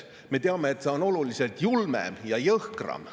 Me teame, et see on oluliselt julmem ja jõhkram.